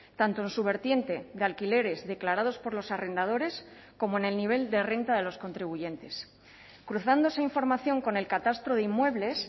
tanto en su vertiente de alquileres declarados por los arrendadores como en el nivel de renta de los contribuyentes cruzando esa información con el catastro de inmuebles